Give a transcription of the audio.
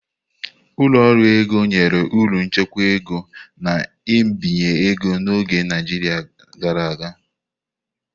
Ụlọ ọrụ ego nyere ọrụ nchekwa ego na mbinye ego n'oge Naijiria gara aga.